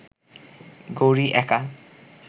গৌরি একা